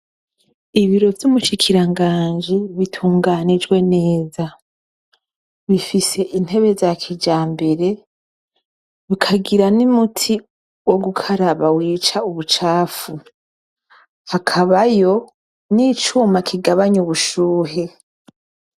Ibiro vy'umushikiranganje bitunganijwe neza bifise intebe za kija mbere bikagira n'i muti wo gukaraba wica ubucafu akabayo n'icuma kigabanya ubushuhe.